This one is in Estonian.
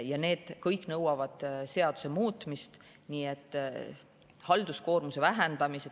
Ja see kõik nõuab seaduse muutmist, halduskoormuse vähendamist.